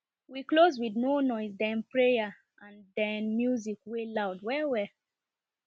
we close with no noise den prayer and den music wey loud well well